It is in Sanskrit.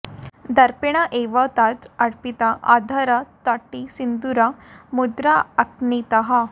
दर्पेण एव तत् अर्पित अधर तटी सिन्दूर मुद्र अन्कितः